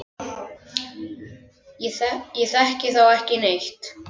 Ég þekki þá ekki neitt.